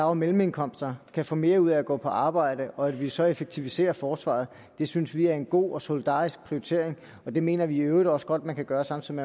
og mellemindkomster kan få mere ud at gå på arbejde og at vi så effektiviserer forsvaret synes vi er en god og solidarisk prioritering og det mener vi i øvrigt også godt at man kan gøre samtidig